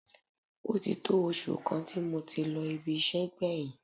Ó ti tó oṣù kan tí mo ti lọ ibi iṣẹ́ gbẹ̀yìn